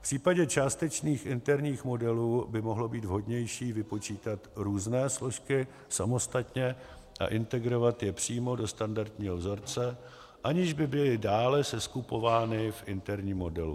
V případě částečných interních modelů by mohlo být vhodnější vypočítat různé složky samostatně a integrovat je přímo do standardního vzorce, aniž by byly dále seskupovány v interním modelu.